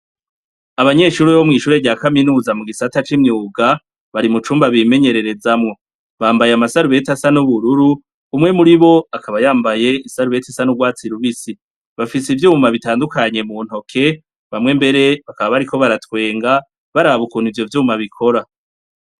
abanyeshure bo mw'ishure rya kaminuza mu gisata c'imyuga, bari mu cumba bimenyererezamwo. Bambaye amasarubeti asa n'ubururu, umwe muri bo akaba yambaye isarubeti isa n'urwatsi rubisi. Bafise ivyma bitandukanye mu ntoke, bamwe mbere bakaba bariko baratwenga, baraba ukuntu ivyo vyuma bikora.